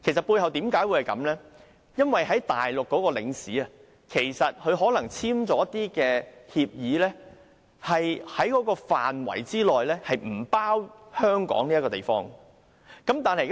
背後的原因，是駐內地的領事可能與內地政府簽署了協議，適用範圍不包含香港這個地方。